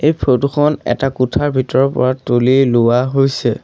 এই ফটো খন এটা কোঠাৰ ভিতৰৰ পৰা তুলি লোৱা হৈছে।